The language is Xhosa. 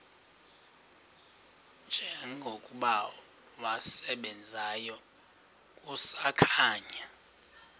njengokuba wasebenzayo kusakhanya